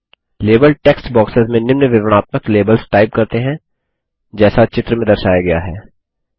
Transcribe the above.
label text boxes में निम्न विवरणात्मक लेबल्स टाइप करते हैं जैसा चित्र में दर्शाया गया है